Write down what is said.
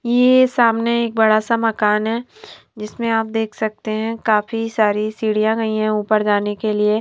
ये सामने एक बड़ा सा मकान है जिसमें आप देख सकते हैं काफी सारी सिढियां गई है ऊपर जाने के लिए।